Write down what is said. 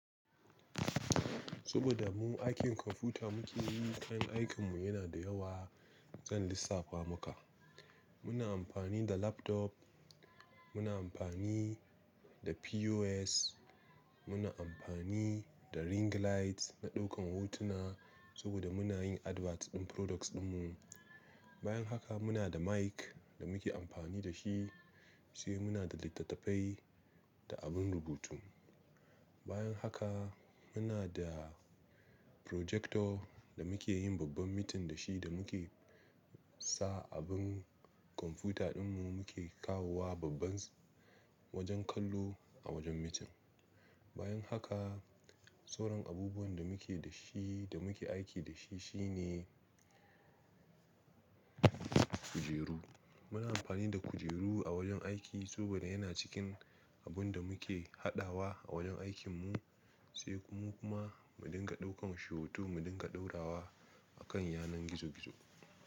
Saboda mu aikin kwamfuta muke yi, kayan aikinmu yana da yawa. Zan lissafa maka. Muna amfani da laptop, muna amfani da POS, muna amfani da ring light na ɗaukan hotuna saboda muna yin Adverts din Products dinmu. Bayan haka muna da Mic da muke amfani da shi, sai muna da littattafai da abun rubutu. Bayan haka muna da Projector da muke yin babban meeting da shi da muke sa abin kwamfuta dinmu muke kawo wa babban Wajen kallo a wajen meeting. Bayan haka sauran abubuwan da muke da shi da muke aiki da shi shine kujeru. Muna amfani da kujeru a wajen aiki saboda yana cikin abun da muke haɗawa a wajen aikinmu, sai mu kuma mu dinga ɗaukan shi hoto mu dinga ɗora wa a kan yanar gizo-gizo.